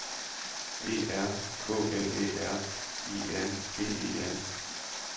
E R K L Æ R I N G E N